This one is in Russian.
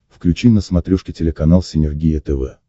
включи на смотрешке телеканал синергия тв